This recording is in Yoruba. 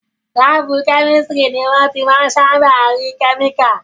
Láàbù kẹ́mísítírì ni wọ́n ti máa n sáábà rí àwọn kẹ́míkà